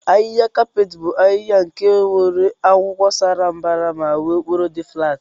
ahiha kapeeti bu ahiha nke nwere akwụkwọ sa mbara ma nwee okporo di flat.